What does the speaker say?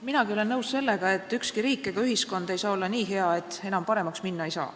Minagi olen nõus sellega, et ükski riik ega ühiskond ei saa olla nii hea, et enam paremaks minna ei saa.